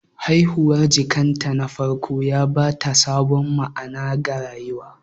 Haihuwar jikanta na farko ya ba ta sabon ma'ana ga rayuwarta.